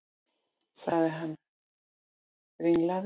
sagði hann ringlaður.